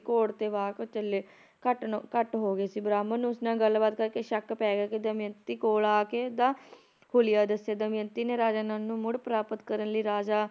ਘੱਟਣੋ ਘੱਟ ਹੋ ਗਏ ਸੀ ਬ੍ਰਾਹਮਣ ਨੂੰ ਉਸ ਨਾਲ ਗੱਲਬਾਤ ਕਰਕੇ ਸ਼ੱਕ ਪੈ ਗਿਆ ਸੀ ਕੀ ਦਮਿਅੰਤੀ ਕੋਲ ਆਕੇ ਇਸਦਾ ਹੁਲੀਆ ਦੱਸੇ ਦਮਿਅੰਤੀ ਨੇ ਰਾਜਾ ਨਲ ਨੂੰ ਮੁੜ ਪ੍ਰਾਪਤ ਕਰਨ ਲਈ ਰਾਜਾ